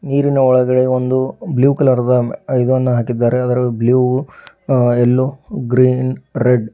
ನೀರಿನ ಒಳಗಡೆ ಒಂದು ಬ್ಲೂ ಕಲರ್ ದ ಇದನ್ನು ಹಾಕಿದ್ದಾರೆ ಅದರಲ್ಲಿ ಬ್ಲೂ ಯಲ್ಲೋ ಗ್ರೀನ್ ರೆಡ್ --